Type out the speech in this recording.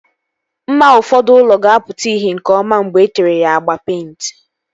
Mma ụfọdụ ụlọ ga-apụta ìhè nke ọma mgbe etere ya agba peịnti